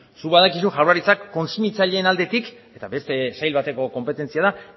zuk badakizu jaurlaritzak kontsumitzaileen aldetik eta beste sail bateko konpetentzia da